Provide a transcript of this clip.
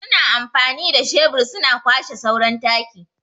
Su na amfanin da shebur su na kwashe sauran taki.